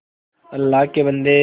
अल्लाह के बन्दे